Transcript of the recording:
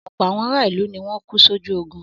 Ọ̀pọ̀ àwọn ará ìlú ni wọ́n kú sójú ogun.